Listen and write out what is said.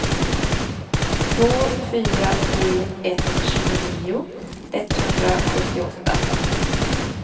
två fyra tre ett tjugonio etthundrasjuttioåtta